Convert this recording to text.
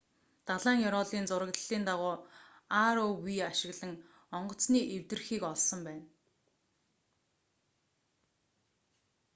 далайн ёроолын зураглалын дараа rov ашиглан онгоцны эвдэрхийг олсон байна